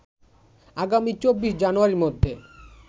আগামী ২৪ জানুয়ারীর মধ্যে